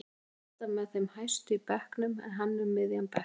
Hún er alltaf með þeim hæstu í bekknum en hann um miðjan bekk.